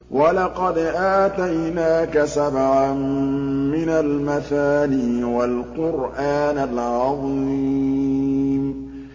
وَلَقَدْ آتَيْنَاكَ سَبْعًا مِّنَ الْمَثَانِي وَالْقُرْآنَ الْعَظِيمَ